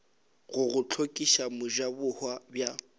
go go hlokiša mojabohwa bja